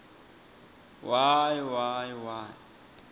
y y y